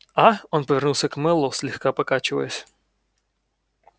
а он повернулся к мэллоу слегка покачиваясь